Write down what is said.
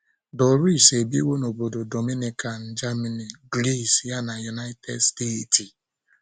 Doris ebiwo n'obodo Dominican, Germany, Gris ya na United steeti.